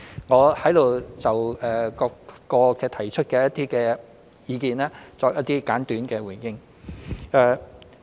我在此就各位提出的意見作一些簡短的回應。